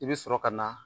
I bɛ sɔrɔ ka na